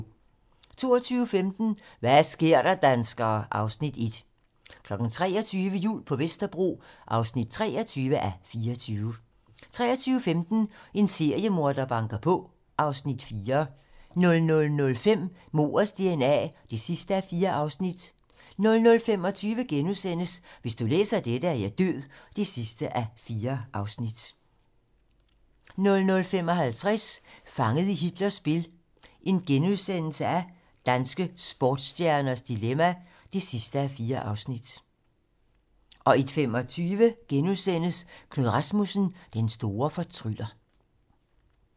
22:15: Hva' sker der, danskere? (Afs. 1) 23:00: Jul på Vesterbro (23:24) 23:15: En seriemorder banker på (Afs. 4) 00:05: Mordets dna (4:4) 00:25: Hvis du læser dette, er jeg død (4:4)* 00:55: Fanget i Hitlers spil - danske sportsstjerners dilemma (4:4)* 01:25: Knud Rasmussen - den store fortryller *